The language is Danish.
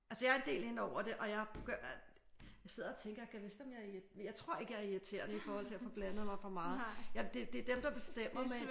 Altså jeg er en del inde over det og jeg jeg sidder og tænker gad vist om jeg er irriterende? Men jeg tror ikke jeg er irriterende i forhold til at få blandet mig for meget. Det er dem der bestemmer men